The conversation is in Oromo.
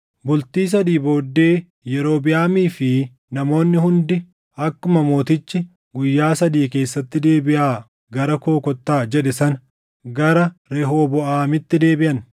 Bultii sadii booddee Yerobiʼaamii fi namoonni hundi akkuma mootichi, “Guyyaa sadii keessatti deebiʼaa gara koo kottaa” jedhe sana gara Rehooboʼaamitti deebiʼan.